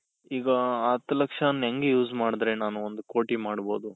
ಈಗ ಆ ಹತ್ತು ಲಕ್ಷನ ಹೆಂಗೆ use ಮಾಡುದ್ರೆ ನಾನು ಒಂದ್ ಕೋಟಿ ಮಾಡ್ಬಹುದು?